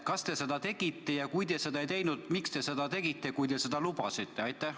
Kas te seda tegite ja kui te seda ei teinud, siis miks te seda ei teinud, kui te seda lubasite?